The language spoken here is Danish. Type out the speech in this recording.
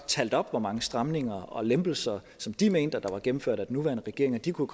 talt op hvor mange stramninger og lempelser som de mente at der var gennemført af den nuværende regering og de kunne